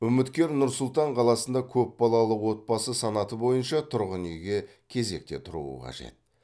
үміткер нұр сұлтан қаласында көпбалалы отбасы санаты бойынша тұрғын үйге кезекте тұруы қажет